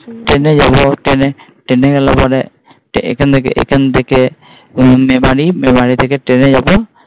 Train যাব Train Train গেলে পরে এখান থেকে, এখান থেকে মেরারি মেরারি থেকে Train যাব।